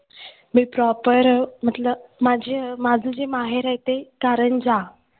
मी proper म्हंटलं माझं माझं जे माहेर आहे ते कारंज्या.